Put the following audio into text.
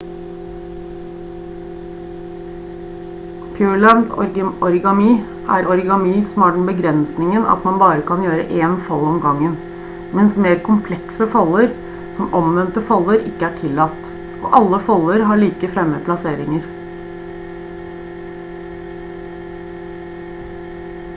pureland origami er origami som har den begrensningen at man bare kan gjøre én fold om gangen mens mer komplekse folder som omvendte folder ikke er tillatt og alle folder har likefremme plasseringer